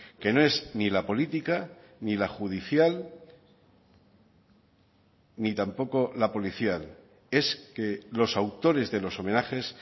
que no es ni la política ni la judicial ni tampoco la policial es que los autores de los homenajes